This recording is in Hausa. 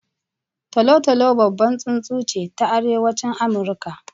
Tolo-tolo babbar tsuntsu ce ta Arewacin Amurka.